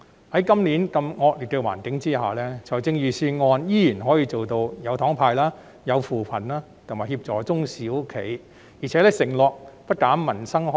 在今年如此惡劣的環境下，財政預算案仍然可以做到"有糖派"、扶貧、協助中小型企業，並承諾不減民生開支。